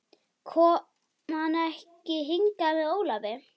Kom hann ekki hingað með Ólafi?